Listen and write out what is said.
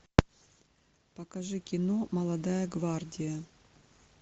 покажи кино молодая гвардия